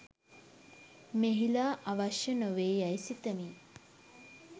මෙහිලා අවශ්‍ය නොවේ යයි සිතමි